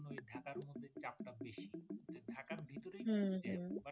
ঢাকার ভিতরেই তো জ্যাম বাট